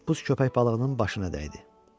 Toppuz köpək balığının başına dəydi.